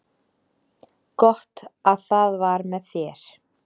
Gott að það var með þér.